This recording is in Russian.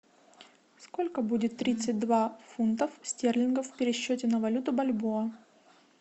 сколько будет тридцать два фунтов стерлингов в пересчете на валюту бальбоа